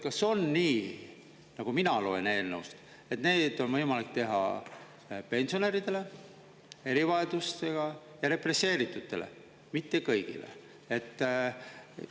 Kas on nii, nagu mina loen eelnõust, et need on võimalik teha pensionäridele, erivajadustega ja represseeritutele, mitte kõigile?